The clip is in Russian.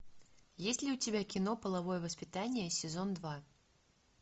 есть ли у тебя кино половое воспитание сезон два